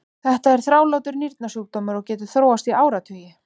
Þetta er þrálátur nýrnasjúkdómur og getur þróast í áratugi.